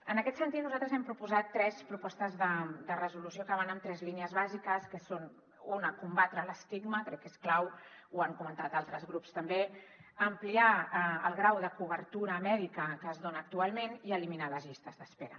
en aquest sentit nosaltres hem proposat tres propostes de resolució que van en tres línies bàsiques que són una combatre l’estigma crec que és clau ho han comentat altres grups també ampliar el grau de cobertura mèdica que es dona actualment i eliminar les llistes d’espera